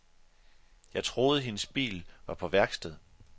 Jeg troede, hendes bil var på værksted.